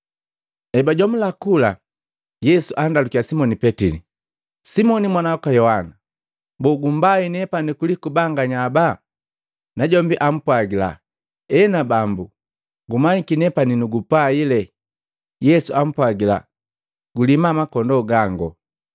Ebajomula kula, Yesu andalukiya simoni Petili, “Simoni mwana waka Yohana! Boo gumbai nepani kuliku banganya ababa?” Najombi jaapwagila, “Ena Bambu, gumanyiki nepani nugupaile.” Yesu ampwagila, “Gulima bana ba makondoo gangu.”